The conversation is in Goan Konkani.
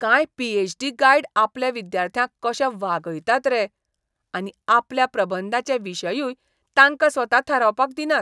कांय पी. ऍच. डी. गायड आपल्या विद्यार्थ्यांक कशें वागयतात रे. आनी आपल्या प्रबंधाचे विशयूय तांकां स्वता थारावपाक दिनात.